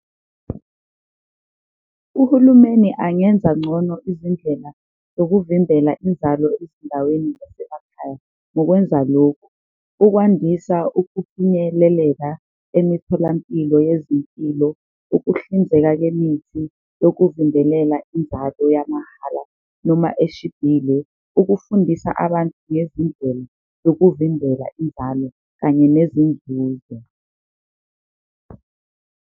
Uhulumeni angenza ncono izindlela zokuvimbela inzalo ezindaweni zasemakhaya ngokwenza lokhu, ukwandisa ukufinyeleleka emitholampilo yezimpilo, ukuhlinzeka kemithi yokuvimbelela inzalo yamahhala noma eshibhile. Ukufundisa abantu ngezindlela yokuvimbela inzalo kanye nezinzuzo.